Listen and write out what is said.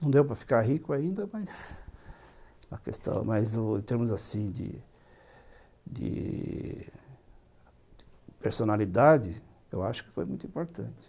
Não deu para ficar rico ainda, mas em termos de de personalidade, eu acho que foi muito importante.